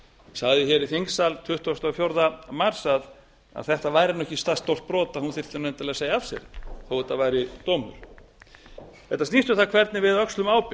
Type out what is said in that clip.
sagði hér í þingsal tuttugasta og fjórða mars að þetta væri ekki það stórt brot að hún þyrfti endilega að segja af sér þó að þetta væri dómur þetta snýst um það hvernig við öxlum ábyrgð